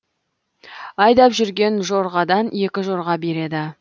айдап жүрген жорғадан екі жорға береді